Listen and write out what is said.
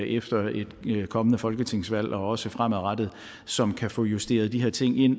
efter et kommende folketingsvalg og også fremadrettet som kan få justeret de her ting ind